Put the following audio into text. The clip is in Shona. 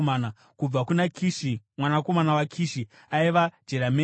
Kubva kuna Kishi mwanakomana waKishi aiva: Jerameeri.